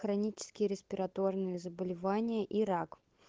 хронические респираторные заболевания и рак